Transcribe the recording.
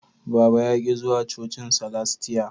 Baba ya ki zuwa cocin salastia